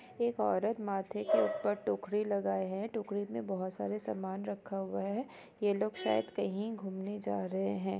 एक औरत माथे के ऊपर टोकरी लगाए है टोकरी मे बहुत सारे समान रखा हुआ है ये लोग शायद कहीं घूमने जा रहे हैं।